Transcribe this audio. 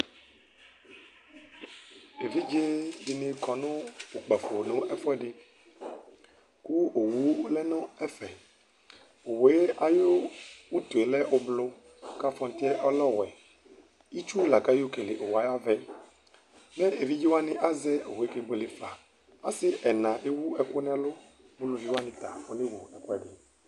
evidze dini kɔ no kpafo no ɛfoɛdi ko owu lɛ no ɛfɛ owue ayi utue lɛ ublɔ k'afɔtiɛ ɔlɛ ɔwɛ itsu la k'ayɔ kele owue ayi avaɛ ko evidze wani azɛ owue kebuele fa ase ɛna ewu ɛkò n'ɛlò uluvi wani ta anewu ɛko n'ɛlo